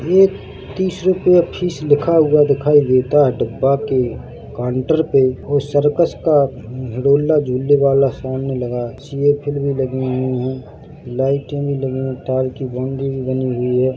एक तीस रुपया फीस लिखा हुआ दिखाई देता है डब्बा के काउंटर पे और सर्कस का हिडोलना झूलने वाला सामने लगा है सीएफेल भी लगी हुई है लाइटे भी लगी है तार की बाउंड्री भी बनी हुई है।